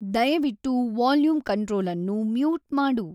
ದಯವಿಟ್ಟು volume control ಅನ್ನು mute ಮಾಡು